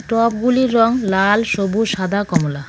টবগুলির রঙ লাল সবুজ সাদা কমলা .